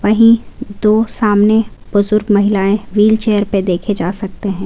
नहीं दो सामने बुज़ुर्ग महिलाएं व्हीलचेयर पर देखे जा सकते हैं।